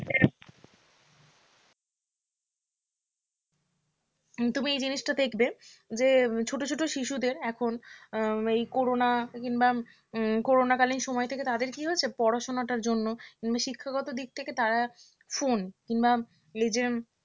তুমি এই জিনিসটা দেখবে যে ছোট ছোট শিশুদের এখন এই করোনা কিংবা করোনাকালীন সময় থেকে তাদের কী হচ্ছে পড়াশোনাটার জন্য শিক্ষাগত দিক থেকে তারা phone কিংবা এই যে